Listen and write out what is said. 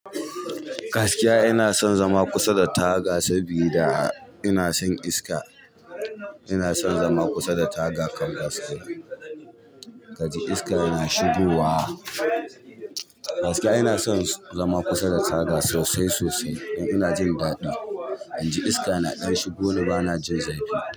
Gaskiya ina son zama kusa da taga sabida ina son iska. Ina son zama kusa da taga kan gaskiya. Kaji iska yana shigowa. Gaskiya ina son zama kusa da taga sosai sosai don ina jin daɗi, inji iska na ɗan shigo ni bana jin zafi.